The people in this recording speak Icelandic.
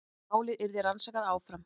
Málið yrði rannsakað áfram